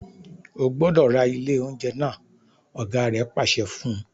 O gbọdọ ra ile ounjẹ naa! ọ̀gá rẹ̀ pàṣẹ fún un.